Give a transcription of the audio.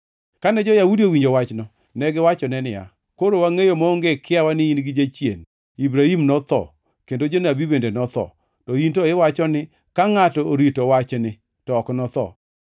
Kane jo-Yahudi owinjo wachno, negiwachone niya, “Koro wangʼeyo maonge kiawa ni in gi jachien! Ibrahim notho, kendo jonabi bende notho, to in to iwacho ni ka ngʼato orito wachni to ok notho.